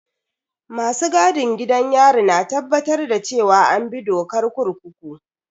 Masu gadin gidan yari na tabbatar da cewa an bi dokar kurkuku.